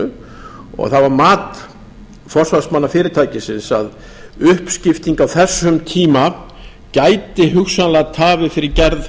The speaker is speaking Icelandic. landinu það var mat forsvarsmanna fyrirtækisins að uppskipting á þessum tíma gæti hugsanlega tafið fyrir gerð